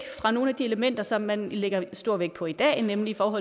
fra nogle af de elementer som man lægger stor vægt på i dag nemlig om